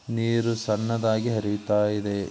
ನೀರು ಸಣ್ಣದಾಗಿ ಹರಿಯುತ್ತಾ ಇದೆ ನೀರು ಸಣ್ಣದಾಗಿ ಹರಿಯುತ್ತಾ ಇದೆ.